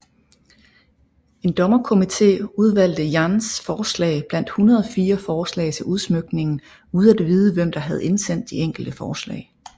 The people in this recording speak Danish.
En dommerkomite udvalgte Yans forslag blandt 104 forslag til udsmykningen uden at vide hvem som havde indsendt de enkelte forslag